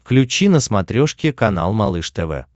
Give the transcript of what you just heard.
включи на смотрешке канал малыш тв